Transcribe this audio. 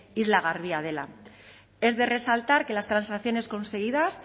isla garbia dela es de resaltar que las transacciones conseguidas